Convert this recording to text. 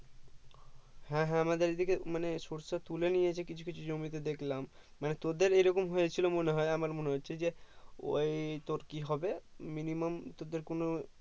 হ্যাঁ হ্যাঁ আমাদের এদিকে মানে সরিষা তুলে নিয়েছে কিছুকিছু জমিতে দেখলাম মানে তোদের এইরকম হয়েছিল মনে হয় আমার মনে হচ্ছে যে ওই তোর কি হবে minimum তোদের কোনো